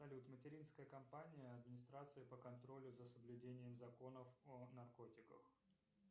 салют материнская компания администрации по контролю за соблюдением законов о наркотиках